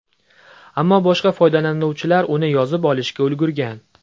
Ammo boshqa foydalanuvchilar uni yozib olishga ulgurgan.